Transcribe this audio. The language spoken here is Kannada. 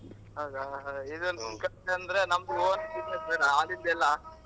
ಹೌದಾ ನಮ್ own business ಬೇಡಾ ಆಗಿದೆಲ್ಲ .